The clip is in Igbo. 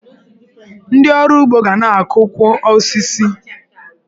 Ndị ọrụ ugbo ga na-akụkwu osisi.